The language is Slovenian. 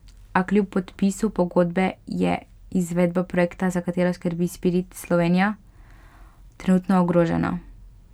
A kljub podpisu pogodbe je izvedba projekta, za katero skrbi Spirit Slovenija, trenutno ogrožena.